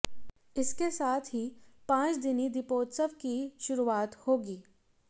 इसके साथ ही पांच दिनी दीपोत्सव की शुरुआत होगी